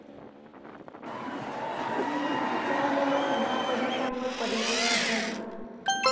आणि याच्या वर या परीक्षां वर परिणाम सुद्धा झाल्यात'